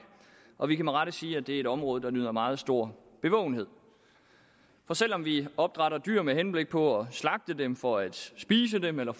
og vi kan med rette sige at det er et område der nyder meget stor bevågenhed selv om vi opdrætter dyr med henblik på at slagte dem for at spise dem eller